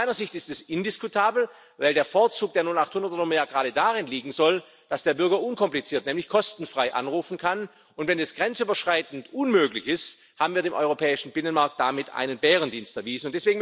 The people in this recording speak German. Aus meiner Sicht ist das indiskutabel, weil der Vorzug der 0800er Nummer gerade darin liegen soll, dass der Bürger unkompliziert nämlich kostenfrei anrufen kann, und wenn es grenzüberschreitend unmöglich ist, haben wir dem europäischen Binnenmarkt damit einen Bärendienst erwiesen.